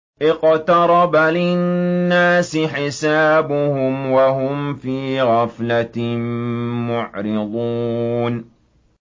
اقْتَرَبَ لِلنَّاسِ حِسَابُهُمْ وَهُمْ فِي غَفْلَةٍ مُّعْرِضُونَ